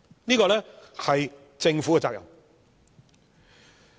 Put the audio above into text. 這是政府的責任。